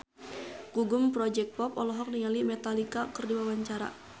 Gugum Project Pop olohok ningali Metallica keur diwawancara